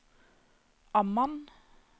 Amman